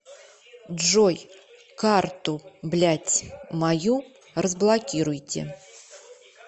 джой карту блять мою разблокируйте